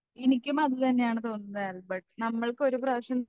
എനിക്കും അതുതന്നെയാണ് തോന്നുന്നത് ആൽബർട്ട്. നമ്മൾക്കൊരു പ്രാവശ്യം